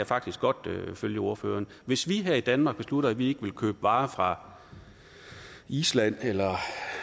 faktisk godt følge ordføreren hvis vi her i danmark beslutter at vi ikke vil købe varer fra island eller